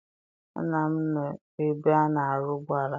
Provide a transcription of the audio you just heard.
Nna m nọ ebe a na-arụ ụgbọala ya.